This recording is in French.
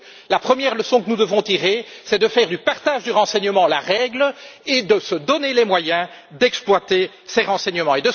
La première leçon que nous devons en tirer, c'est de faire du partage du renseignement la règle et de se donner les moyens d'exploiter ces renseignements.